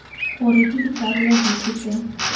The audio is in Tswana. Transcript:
gore ke dikarolo dife tse